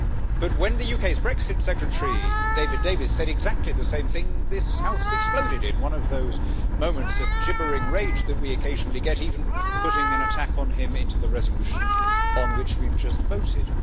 But when the UK's Brexit Secretary, David Davis, said exactly the same thing, this House exploded in one of those moments of gibbering rage that we occasionally get, even putting an attack on him into the resolution on which we have just voted.